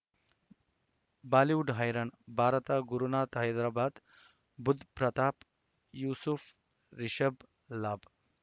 Bollywood ಹೈರಾಣ ಭಾರತ ಗುರುನಾಥ ಹೈದರಾಬಾದ್ ಬುಧ್ ಪ್ರತಾಪ್ ಯೂಸುಫ್ ರಿಷಬ್ ಲಾಭ್